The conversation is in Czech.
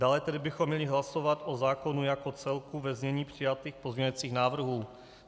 Dále tedy bychom měli hlasovat o zákonu jako celku ve znění přijatých pozměňovacích návrhů.